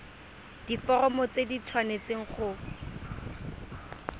diforomo tse di tshwanesteng go